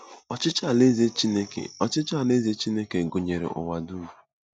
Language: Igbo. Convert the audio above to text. Ọchịchị Alaeze Chineke Ọchịchị Alaeze Chineke gụnyere ụwa dum.